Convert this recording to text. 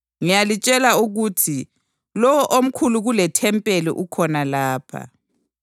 Ngiyalitshela ukuthi lowo omkhulu kulethempeli ukhona lapha.